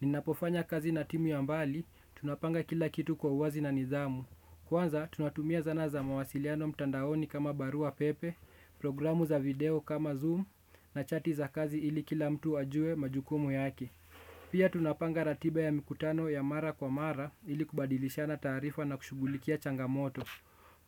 Ninapofanya kazi na timu ya mbali, tunapanga kila kitu kwa uwazi na nidhamu. Kwanza, tunatumia zana za mawasiliano mtandaoni kama barua pepe, programu za video kama zoom na chati za kazi ili kila mtu ajue majukumu yake. Pia tunapanga ratiba ya mikutano ya mara kwa mara ili kubadilishana taarifa na kushughulikia changamoto.